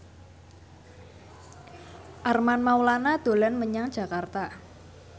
Armand Maulana dolan menyang Jakarta